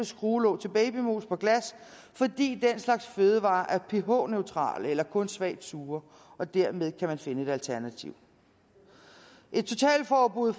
skruelåg til babymos på glas fordi den slags fødevarer er ph neutrale eller kun svagt sure og dermed har finde et alternativ et totalforbud